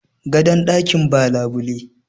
dakin gadon ba labule